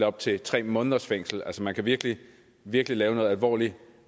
op til tre måneders fængsel altså man kan virkelig virkelig begå alvorlig